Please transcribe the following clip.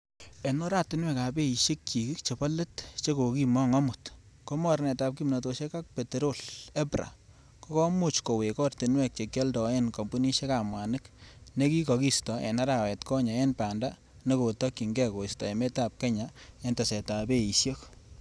En oratinwek ab beishekschik che bo let che kokimong amut, ko mornetab kimtosiek ak peterol( EPRA) ko komuch kowek ortinwek chekioldoen kompunisiekab mwanik, nekikokisto en arawet konye en banda nekotokyin ge koisto emetab Kenya en tesetab beishek.